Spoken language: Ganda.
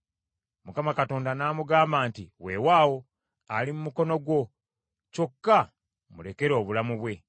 Mukama Katonda n’amugamba nti, “Weewaawo, ali mu mukono gwo, kyokka mulekere obulamu bwe.”